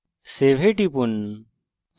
save এ টিপুন